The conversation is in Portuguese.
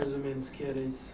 Mais ou menos, que era isso?